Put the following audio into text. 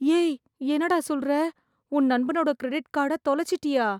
ஏய் என்னடா சொல்றே... உன் நண்பனோட க்ரெடிட் கார்ட தொலச்சிட்டியா...